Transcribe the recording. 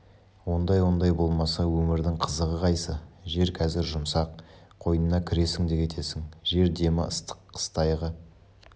ондай-ондай болмаса өмірдің қызығы қайсы жер қазір жұмсақ қойнына кіресің де кетесің жер демі ыстық қыстайғы